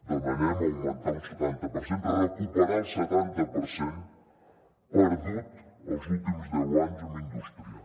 demanem augmentar un setanta per cent recuperar el setanta per cent perdut els últims deu anys en indústria